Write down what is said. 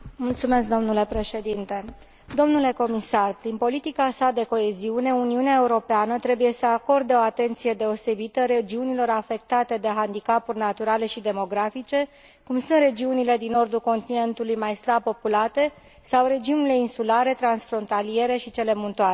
Domnule comisar, prin politica sa de coeziune, Uniunea Europeană trebuie să acorde o atenție deosebită regiunilor afectate de handicapuri naturale și demografice, cum sunt regiunile din nordul continentului, mai slab populate, sau regiunile insulare, transfrontaliere și cele muntoase.